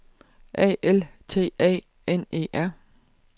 A L T A N E R